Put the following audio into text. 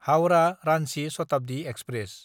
हाउरा–रान्चि Shatabdi express